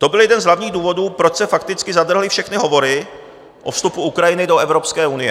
To byl jeden z hlavních důvodů, proč se fakticky zadrhly všechny hovory o vstupu Ukrajiny do Evropské unie.